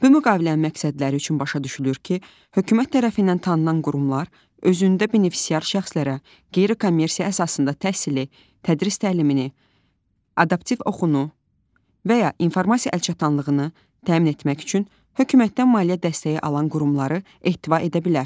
Bu müqavilənin məqsədləri üçün başa düşülür ki, hökumət tərəfindən tanınan qurumlar özündə benefisiar şəxslərə qeyri-kommersiya əsasında təhsili, tədris təlimini, adaptiv oxunu və ya informasiya əlçatanlığını təmin etmək üçün hökumətdən maliyyə dəstəyi alan qurumları ehtiva edə bilər.